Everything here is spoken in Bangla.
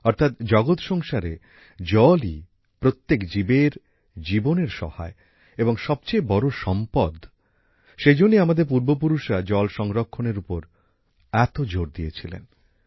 অর্থাৎ জগৎ সংসারে জলই প্রত্যেক জীবের জীবনের সহায় এবং সবচেয়ে বড় সম্পদ সেই জন্যই আমাদের পূর্বপুরুষরা জল সংরক্ষণের উপর এত জোর দিয়েছিলেন